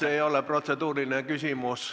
See ei ole protseduuriline küsimus.